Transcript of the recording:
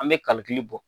An bɛ kalikili bɔ